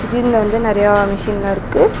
ஜிம்ல வந்து நெறையா மெஷின்லா இருக்கு.